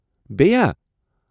بیٚیہِ ہا؟